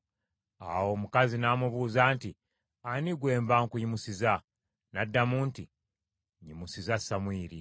Awo omukazi n’amubuuza nti, “Ani gwe mba nkuyimusiza?” N’addamu nti, “Nyimusiza Samwiri.”